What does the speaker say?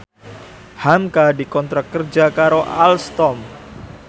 hamka dikontrak kerja karo Alstom